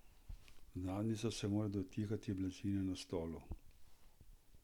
Zadnjica se mora dotikati blazine na stolu.